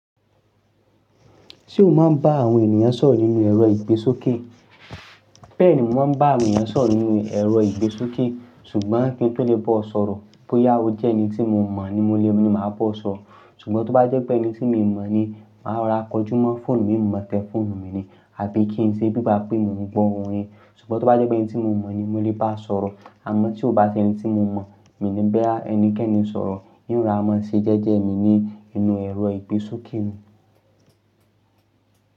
Ṣé o máa ń bá àwọn ènìyàn sọ̀rọ̀ nínú ẹ̀rọ ìgbésókè? Bẹ́ẹ̀ni, mo máa ń bá awon ènyàn sọ̀rọ̀ nínú ẹ̀rọ ìgbésókè. Ṣùgbọ́n kí n tó lè bá ọ sọ̀rọ̀, bóyá o jẹ́ ẹni tí mo mọ̀ ni mo lè ní máa bá ọ sọ̀rọ̀. Ṣùgbọ́n tó bá jẹ́ pé ẹni tí mo mọ̀ ni, màá ra kọjú mọ́ fóònù mi, mo tẹ fóònù mi ni àbí kí n ṣe bíba pé mo ń gbọ́ ohùn ẹ. Ṣùgbọ́n tó bá jẹ́ pé ẹni tí mo mọ̀ ni mo lè bá sọ̀rọ̀, àmọ́ tí o bá ṣe ẹni tí mo mọ̀, mi ò ní bẹ ẹnikẹ́ni sọ̀rọ̀. Nrora máa ṣe jẹ́jẹ́ mi ni inú ẹ̀rọ ìgbésókè ni.